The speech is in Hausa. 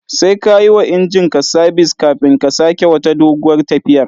Sai ka yi wa injin ka sabis kafin ka sake wata doguwar tafiyar.